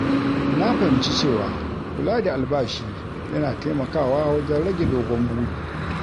Na fahimci cewa kula da albashi yana taimakawa wajen rage dogon buri.